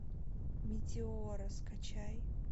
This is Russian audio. метеора скачай